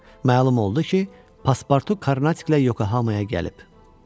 Məlum oldu ki, Paspartu Karnatiklə Yokohamaya gəlib.